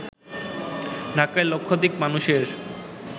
ঢাকায় লক্ষাধিক মানুষের